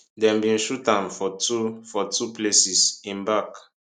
dem bin shoot am for two for two places im back